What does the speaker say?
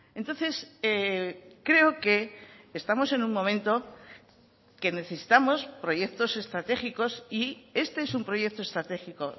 entonces creo que estamos en un momento que necesitamos proyectos estratégicos y este es un proyecto estratégico